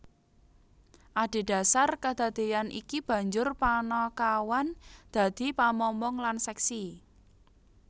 Adhedasar kadadeyan iki banjur panakawan dadi pamomong lan seksi